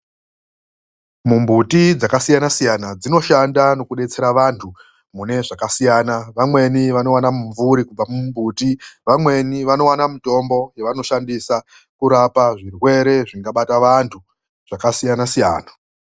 Mimbuti dzakasiya siyana dzinoshanda nekudetsera vantu mune zvakasiyana. Vamweni vanowana mumvuri kubva mumbiti. Vamweni vanowana mitombo yavanoshandisa kurapa zvirwere zvingabata vantu zvakasiyana siyana.